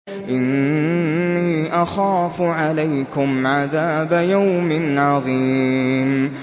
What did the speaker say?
إِنِّي أَخَافُ عَلَيْكُمْ عَذَابَ يَوْمٍ عَظِيمٍ